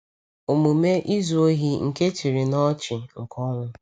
Omume izu ohi nke chịrị n’ọchị nke ọnwụ.